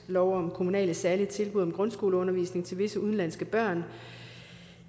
lov om kommunale særlige tilbud om grundskoleundervisning til visse udenlandske børn